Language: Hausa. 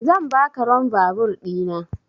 Zan baka ron vaabur ɗina